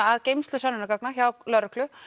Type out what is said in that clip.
að geymslu sönnunargagna hjá lögreglu